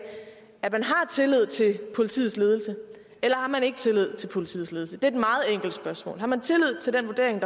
at man har tillid til politiets ledelse eller man ikke har tillid til politiets ledelse det meget enkelt spørgsmål har man tillid til den vurdering